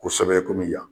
Kosɛbɛ komi yan